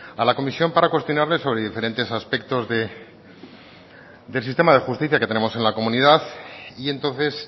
a la comisión para cuestionarle sobre diferentes aspectos del sistema de justicia que tenemos en la comunidad y entonces